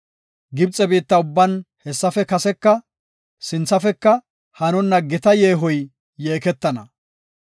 Gibxe biitta ubban hessafe kaseka sinthafeka hanonna gita yeehoy yeekeettana.